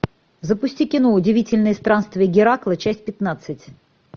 запусти кино удивительные странствия геракла часть пятнадцать